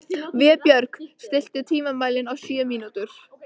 Vébjörg, stilltu tímamælinn á sjö mínútur.